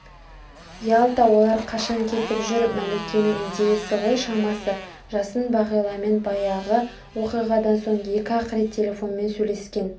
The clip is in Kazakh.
ялта олар қашан кетіп жүр мәликенің идеясы ғой шамасы жасын бағиламен баяғы оқиғадан соң екі-ақ рет телефонмен сөйлескен